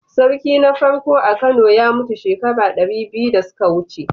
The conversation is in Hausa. Sarki na farko a Kano ya mutu shekara dari biyu da suka wuce.